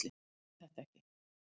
Ég skil þetta ekki!